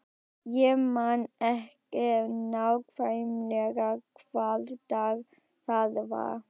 Ég man ekki nákvæmlega hvaða dag það var.